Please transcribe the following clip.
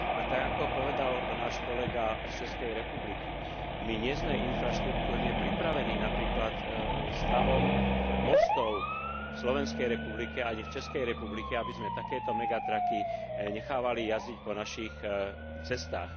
A tak, ako povedal náš kolega z Českej republiky, my nie sme infraštruktúrne pripravení napríklad stavom mostov v Slovenskej republike ani v Českej republike, aby sme takéto nechávali jazdiť po našich cestách.